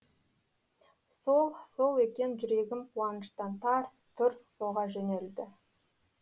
сол сол екен жүрегім қуаныштан тарс тұрс соға жөнелді